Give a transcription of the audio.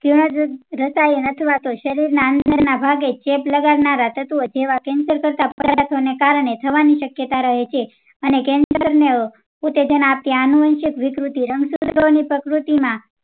જીણ રસાયણ અથવા તો શરીર ના અંદર ના ભાગે ચેપ લગાડનાર તત્વો જેવા cancer કરતા પદાર્થો ને કારણે થવાની શક્યતા રહે છે અને cancer ને ઉતેજન આપી આનુવંશશિક વિકૃતિ પ્રકૃતિ માં